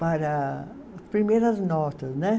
para as primeiras notas, né?